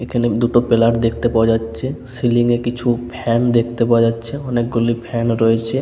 এখানে দুটো পেলার দেখতে পাওয়া যাচ্ছে সিলিং -এ কিছু ফ্যান দেখতে পাওয়া যাচ্ছে অনেকগুলি ফ্যান রয়েছে ।